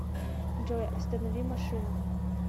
джой останови машину